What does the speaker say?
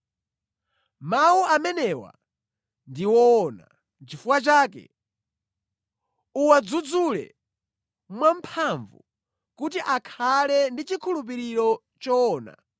Mawu amenewa ndi woona. Nʼchifukwa chake, uwadzudzule mwamphamvu, kuti akhale ndi chikhulupiriro choona,